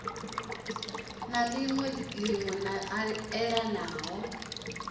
na liṅwe line la elana